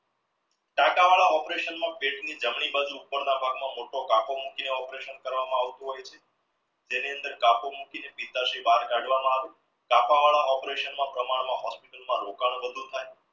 ટાટા વડા operation માં પેટ ની જમણી બાજુ ઉપપર ના ભાગ માં મોટો તકો મૂકી operation કરવા માં આવતું હોય તેની અંદર મૂકી ને બહાર કાઢવામાં આવે વડા operation માં પ્રમાણ માં ઓછું hospital માં